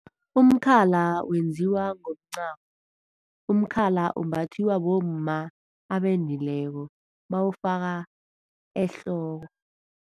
Umkhala wenziwa ngomncamo, umkhala umbathiwa bomma abendileko bawufaka ehloko.